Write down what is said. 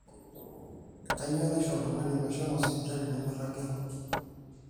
kanyioo naisho oltung'ani meshomo sipitali nemeiragi